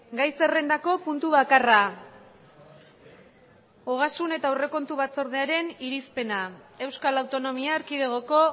gai zerrendako puntu bakarra ogasun eta aurrekontu batzordearen irizpena euskal autonomia erkidegoko